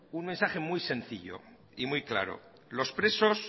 un mensaje muy sencillo y muy claro los presos